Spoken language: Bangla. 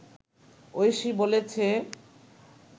ঐশী বলেছে